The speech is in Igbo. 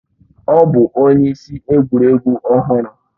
Ọ bụ onye isi egwuregwu ọhụrụ